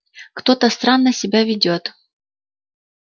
кто-то странно себя ведёт